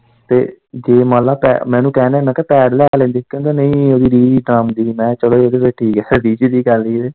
ਤੇ ਜੇ ਮੰਨ ਲਾ ਪੈ ਮੈਂ ਇੰਨੂ ਕਹਿਣ ਨਿਆ ਮੈਂ ਕਿਹਾ ਪੇਂਡ ਲੈ ਲੈਂਦੇ ਕਹਿੰਦਾ ਨਹੀਂ ਇਹ ਵੀ ਕੰਮ ਦੀ ਆ, ਮੈਂ ਕਿਹਾ ਚੱਲੋ ਇਵੀਂ ਫਿਰ ਠੀਕ ਆ।